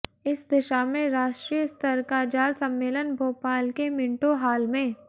इस दिशा में राष्ट्रीय स्तर का जल सम्मेलन भोपाल के मिंटो हाल में